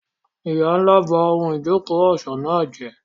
Ìyá ńlá ba ohun ìjókòó ọ̀ṣọ́ náà jẹ́.